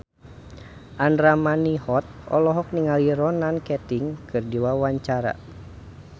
Andra Manihot olohok ningali Ronan Keating keur diwawancara